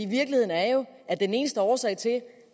virkeligheden er jo at den eneste årsag til